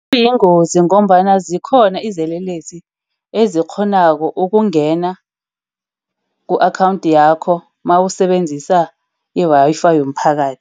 Kuyingozi ngombana zikhona izelelesi ezikghonako ukungena ku-akhawundi yakho nawusebenzisa i-Wi-Fi yomphakathi.